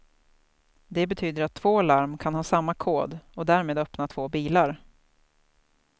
Det betyder att två larm kan ha samma kod och därmed öppna två bilar.